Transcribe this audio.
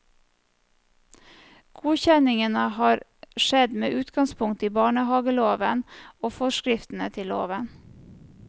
Godkjenningen har skjedd med utgangspunkt i barnehaveloven, og forskriftene til loven.